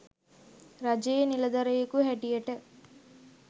රජයේ නිලධරයකු හැටියට